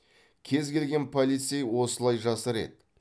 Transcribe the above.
кез келген полицей осылай жасар еді